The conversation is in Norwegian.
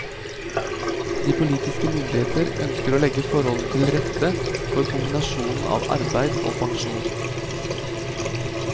De politiske myndigheter ønsker å legge forholdene til rette for kombinasjonen av arbeid og pensjon.